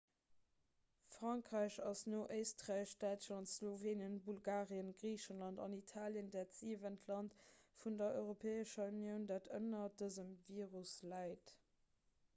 frankräich ass no éisträich däitschland slowenien bulgarien griicheland an italien dat siwent land vun der europäescher unioun dat ënner dësem virus leit